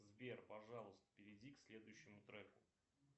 сбер пожалуйста перейди к следующему треку